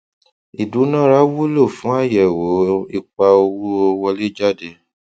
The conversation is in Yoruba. ìdúnára wulo fún àyẹwò ipa owó wọléjáde